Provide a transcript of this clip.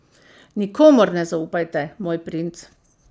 Nikomur ne zaupajte, moj princ.